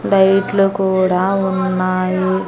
లైట్లు కూడా ఉన్నాయి.